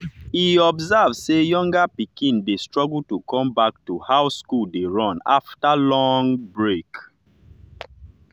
e observe say younger pikin dey struggle to come back to how school dey run after long break.